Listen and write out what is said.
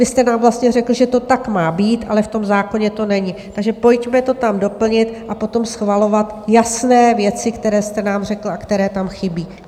Vy jste nám vlastně řekl, že to tak má být, ale v tom zákoně to není, takže pojďme to tam doplnit a potom schvalovat jasné věci, které jste nám řekl a které tam chybí.